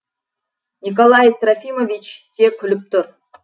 николай трофимович те күліп тұр